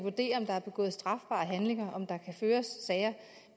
vurderer om der er begået strafbare handlinger om der kan føres sager